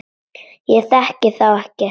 Ég þekki þá ekki neitt.